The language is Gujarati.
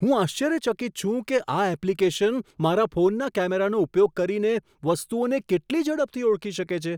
હું આશ્ચર્યચકિત છું કે આ એપ્લિકેશન મારા ફોનના કેમેરાનો ઉપયોગ કરીને વસ્તુઓને કેટલી ઝડપથી ઓળખી શકે છે.